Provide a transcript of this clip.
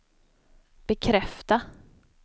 bekräfta